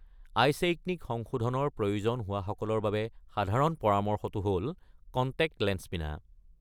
আইছেইকনিক সংশোধনৰ প্ৰয়োজন হোৱাসকলৰ বাবে সাধাৰণ পৰামৰ্শটো হ’ল কনটেক্ট লেন্স পিন্ধা।